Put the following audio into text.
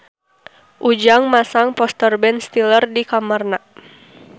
Ujang masang poster Ben Stiller di kamarna